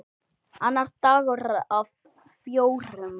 Annar dagur af fjórum.